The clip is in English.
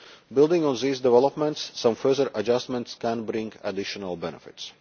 Building on these developments, some further adjustments can bring additional benefits.